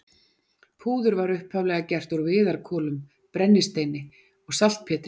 Púður var upphaflega gert úr viðarkolum, brennisteini og saltpétri.